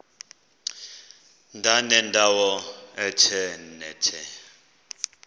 ndanendawo ethe nethe